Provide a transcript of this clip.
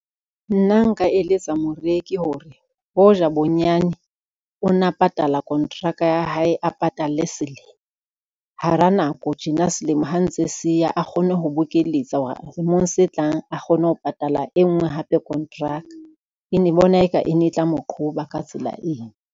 Nna nka eletsa moreki hore hoja bonyane o na patala kontraka ya hae a patalle selemo, hara nako tjena selemo ha ntse se ya a kgone ho bokeletsa hore selemong se tlang a kgone ho patala e ngwe hape kontraka. Ke bona eka e ne e tla mo qhoba ka tsela eno.